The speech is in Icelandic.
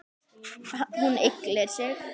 Hún ygglir sig.